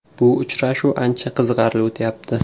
Bu uchrashuv ancha qiziqarli o‘tyapti.